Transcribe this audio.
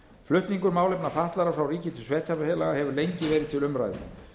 flutningur málefna fatlaðra frá ríki til sveitarfélaga hefur lengi verið til umræðu